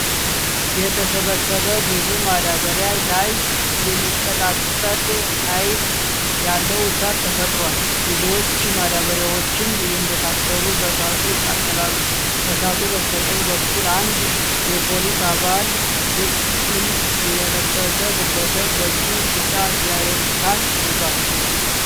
የተሰበሰበ ብዙ ማዳበሪያ ላይ የሚቀጣጠል ሃይል ያለው እሳት ተፈጥሯል። ብዙዎቹ ማዳበሪያዎችም እንደታሰሩ በእሳቱ ይቃጠላሉ። ከእሳቱ በስተቀኝ በኩል አንድ የፖሊስ አባል ልብስን የለበሰ ግለሰብ በእጁ ቢጫ ጄሪካን ይዟል።